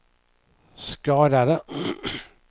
skadade